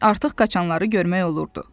Artıq qaçanları görmək olurdu.